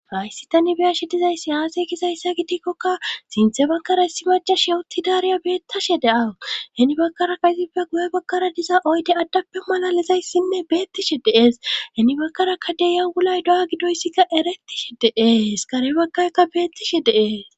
faysi tani biyashe dizayssi aasey kizayssa gidikkokka sinthe bakkara issi majash yowuttidaariya beettashe de7aheni bakkaraka izippe guye bakkara diza oyde addappe malalizayssinne beettishe dees heni bakkarakka deyawulay do7a gidoyssikka eretishe dee hiskarebakkaykka beettishe dee